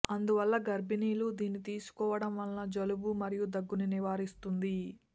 అందువల్ల గర్భిణీలు దీన్ని తీసుకోవడం వల్ల జలుబు మరియు దగ్గును నివారిస్తుంది